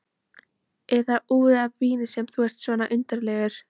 Er það út af víni sem þú ert svona undarlegur?